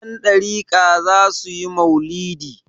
Yandariƙa za su yi mau'lidi.